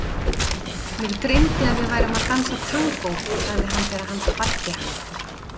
Mig dreymdi að við værum að dansa tangó, sagði hann þegar hann kvaddi hana.